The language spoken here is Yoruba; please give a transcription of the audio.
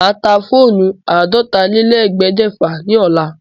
Màá ta fóónù àádọ́tálélẹ́ẹ̀ẹ́dẹ́gbẹ́fà ní ọ̀la.